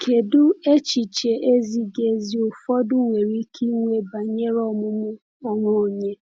Kedu echiche ezighi ezi ụfọdụ nwere ike inwe banyere ọmụmụ onwe onye?